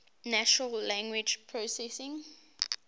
natural language processing